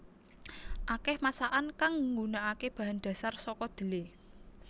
Akèh masakan kang nggunakaké bahan dhasar saka dhelé